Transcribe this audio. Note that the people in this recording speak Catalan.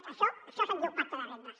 d’això d’això se’n diu pacte de rendes